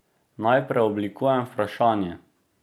Naj preoblikujem vprašanje.